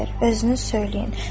Özünüz söyləyin.